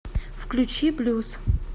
включи блюз